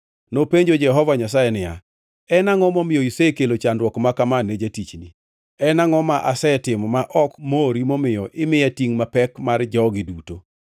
Nopenjo Jehova Nyasaye niya, “En angʼo momiyo isekelo chandruok ma kama ne jatichni? En angʼo ma asetimo ma ok mori momiyo imiya tingʼ mapek mar jogi duto?